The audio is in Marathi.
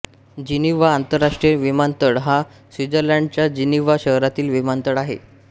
जिनिव्हा आंतरराष्ट्रीय विमानतळ हा स्वित्झर्लंडच्या जिनिव्हा शहरातील विमानतळ आहे